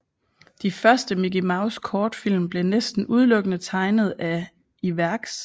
De første Mickey Mouse kortfilm blev næsten udelukkende tegnet af Iwerks